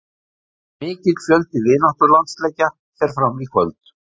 Mikill fjöldi vináttulandsleikja fer fram í kvöld.